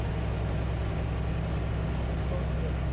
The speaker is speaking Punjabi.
ਕੰਮ ਜਾ